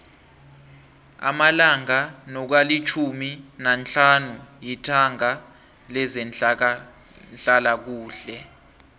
amalanga nokalitjhumi nahlanu yitanga lezehlalakuhle